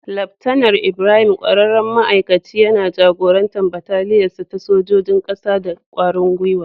Laftanar Ibrahim, ƙwararren ma'aikacin, yana jagorantar bataliyar sa ta sojojin kasa da ƙwarin gwiwa.